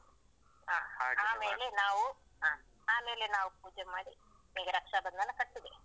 ಆ. ಆಮೇಲೆ ನಾವು, ಆ ಆಮೇಲೆ ನಾವು ಪೂಜೆ ಮಾಡಿ ಈಗ ರಕ್ಷಾಬಂಧನ ಕಟ್ಟುದೇ.